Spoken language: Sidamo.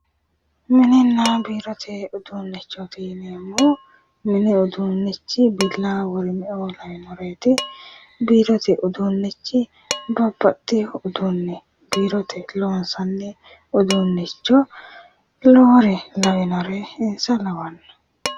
Mininna biirote uduuunnichooti yineemmohu, mini uduunnichi billawa worime, biirote udunnichi babbaxewo uduunni biirote loonsanni uduunnicho lowore lawinore insa lawanno.